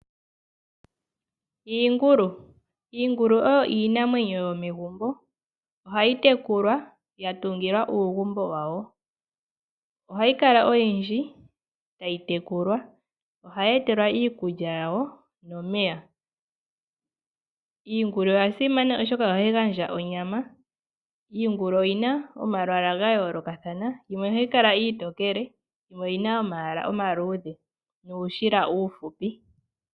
Iingulu, iingulu oyo iinamwenyo yomegumbo. Ohayi tekulwa ya tungilwa uugumbo wawo, ohayi kala oyindji tayi tekulwa. Ohayi etelwa iikulya yawo nomeya. Iingulu oya simana oshoka ohayi gandja onyama. Iingulu oyina omalwaala ga yoolokathana, yimwe ohayi kala iitokele yimwe oyina omayala omaluudhe nuushila uufupi.